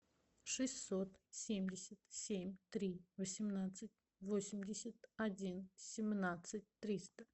шестьсот семьдесят семь три восемнадцать восемьдесят один семнадцать триста